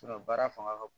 baara fanga ka bon